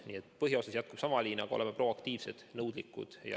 Nii et põhiosas jätkub sama liin, aga oleme proaktiivsed ja nõudlikud.